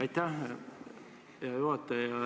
Aitäh, hea juhataja!